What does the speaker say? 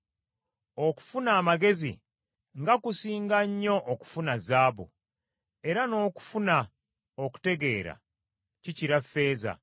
Okufuna amagezi nga kusinga nnyo okufuna zaabu, era n’okufuna okutegeera kikira ffeeza!